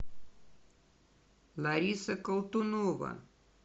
лариса колтунова